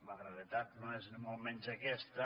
la realitat no és ni molt menys aquesta